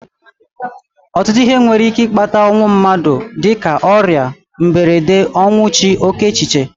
Ọtụtụ ihe nwere ike ịkpata ọnwụ mmadụ dịka ọrịa, mberede, ọnwụ chi, oké echiche